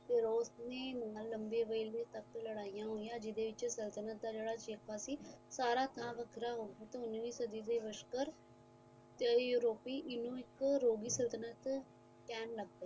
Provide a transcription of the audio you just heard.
ਉਸ ਵੇਲੇ ਲੰਬੇ ਸਮੇ ਲੜਾਈਆਂ ਹੋਇਆ ਜਿੰਦੇ ਵਿੱਚ ਸੰਤਤਲਣ ਦਾ ਜੇੜਾ ਸਾਰਾ ਥਾਂ ਵੱਖਰਾ ਹੋ ਗਿਆ ਉੰਨੀ ਸਦੀ ਵਸਕਰ ਯਰੋਪੀ ਇੱਕ ਇੱਕੋ ਰੋਗੀ ਸੰਤਤਲਣ ਕਹਿਣ ਲੱਗ ਪਏ